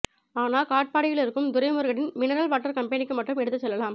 ஆனா காட்பாடியிலிருக்கும் துரைமுருகனின் மினரல் வாட்டர் கம்பெனிக்கு மட்டும் எடுத்துச் செல்லலாம்